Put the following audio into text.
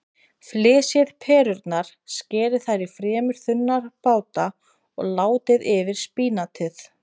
Flysjið perurnar, skerið þær í fremur þunna báta og látið yfir spínatið.